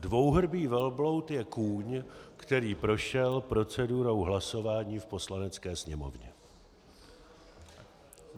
Dvouhrbý velbloud je kůň, který prošel procedurou hlasování v Poslanecké sněmovně.